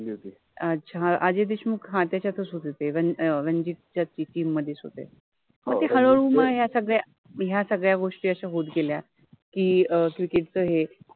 अच्छा, अजय देशमुख ह त्याच्यातच होते ते रंजि अ रांजित च्या टिम मधेच होते ते, मग ते हळूहळु या सगळ्या या सगळ्या गोष्टी अश्या होत गेल्या कि क्रिकेट {cricket} च हे